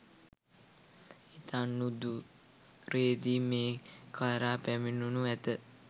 ඉතා නුදුරේදී මේ කරා පැමිණෙනු ඇති.